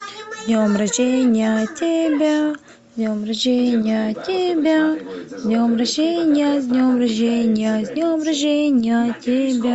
с днем рождения тебя с днем рождения тебя с днем рождения с днем рождения с днем рождения тебя